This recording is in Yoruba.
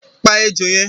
Pa ejò yẹn!